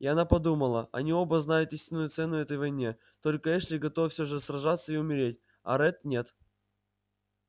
и она подумала они оба знают истинную цену этой войне только эшли готов все же сражаться и умереть а ретт нет